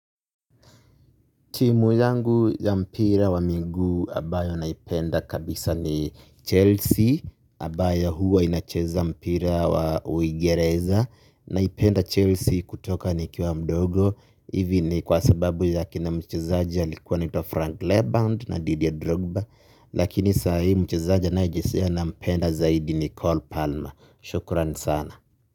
Timu yangu ya mpira wa miguu abayo naipenda kabisa ni Chelsea, abayo huwa inacheza mpira wa uigereza, naipenda Chelsea kutoka ni kiwa mdogo, hivi ni kwa sababu ya kina mchezaji alikuwa anaitwa Frank Lebend na Didier Drogba, lakini saa hii mchezaji anayejesea nampenda zaidi ni cole Palmer, shukuran sana.